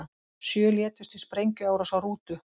Sjö létust í sprengjuárás á rútu